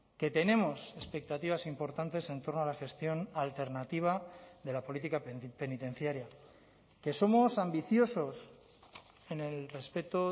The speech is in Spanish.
que tenemos expectativas importantes en torno a la gestión alternativa de la política penitenciaria que somos ambiciosos en el respeto